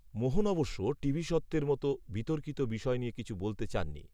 মোহন অবশ্য, টিভি সত্ত্বের মতো, বিতর্কিত বিষয় নিয়ে কিছু বলতে চাননি